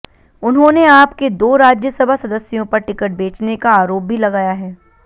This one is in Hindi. उन्होंने आप के दो राज्यसभा सदस्यों पर टिकट बेचने का आरोप भी लगाया है